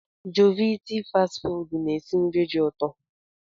Jovit fast ị fụdu na-esi nri dị ụtọ.